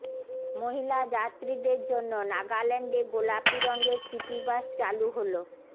মহিলা যাত্ৰীদের জন্য নাগাল্যান্ডে গোলাপি রঙের সিটিবাস চালু হলো